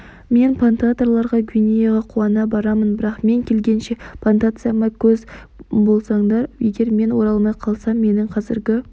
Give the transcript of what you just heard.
мен плантаторларға гвинеяға қуана барамын бірақ мен келгенше плантацияма көз болсаңдар егер мен оралмай қалсам менің қазіргі